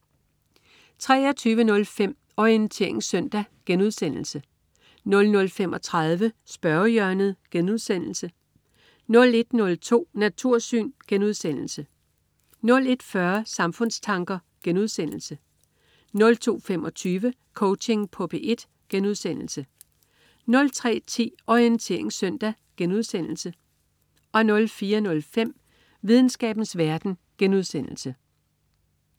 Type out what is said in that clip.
23.05 Orientering søndag* 00.35 Spørgehjørnet* 01.02 Natursyn* 01.40 Samfundstanker* 02.25 Coaching på P1* 03.10 Orientering søndag* 04.05 Videnskabens verden*